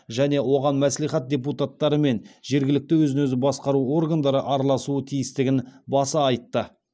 және оған мәслихат депутаттары мен жергілікті өзін өзі басқару органдары араласуы тиістігін баса айтты